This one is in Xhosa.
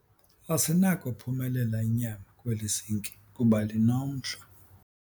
Asinakophumelela inyama kweli zinki kuba linomhlwa.